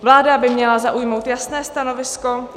Vláda by měla zaujmout jasné stanovisko.